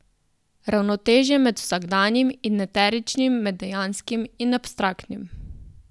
Ravnotežje med vsakdanjim in eteričnim, med dejanskim in abstraktnim.